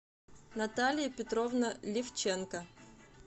наталья петровна левченко